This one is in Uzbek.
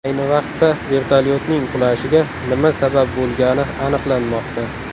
Ayni vaqtda vertolyotning qulashiga nima sabab bo‘lgani aniqlanmoqda.